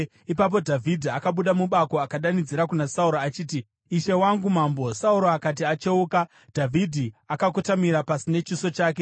Ipapo Dhavhidhi akabuda mubako akadanidzira kuna Sauro achiti, “Ishe wangu mambo!” Sauro akati acheuka, Dhavhidhi akakotamira pasi nechiso chake.